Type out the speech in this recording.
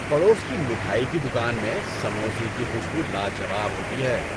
پڑوس کی مٹھائی کی دکان میں سموسے کی خوشبو لاجواب ہوتی ہے۔